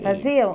Faziam?